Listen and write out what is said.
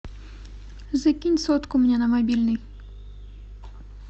закинь сотку мне на мобильный